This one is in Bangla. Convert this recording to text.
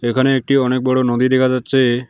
এখানে একটি অনেক বড়ো নদী দেখা যাচ্ছে।